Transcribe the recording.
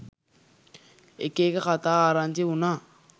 එක එක කතා ආරංචි වුණා.